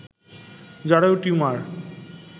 জরায়ু টিউমার